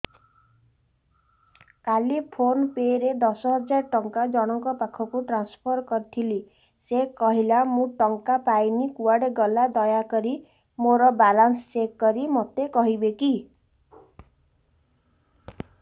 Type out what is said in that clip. କାଲି PhonePe ରେ ଦଶ ହଜାର ଟଙ୍କା ଜଣକ ପାଖକୁ ଟ୍ରାନ୍ସଫର୍ କରିଥିଲି ସେ କହିଲା ମୁଁ ଟଙ୍କା ପାଇନି କୁଆଡେ ଗଲା ଦୟାକରି ମୋର ବାଲାନ୍ସ ଚେକ୍ କରି ମୋତେ କହିବେ କି